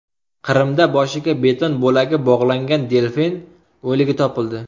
Qrimda boshiga beton bo‘lagi bog‘langan delfin o‘ligi topildi.